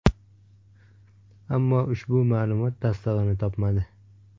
Ammo ushbu ma’lumot tasdig‘ini topmadi.